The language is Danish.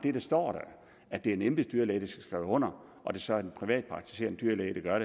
at der står at det er en embedsdyrlæge skrive under og det så er en privatpraktiserende dyrlæge der gør